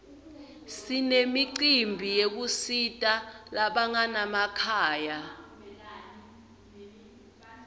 sinemicimbi yekusita labanganamakhaya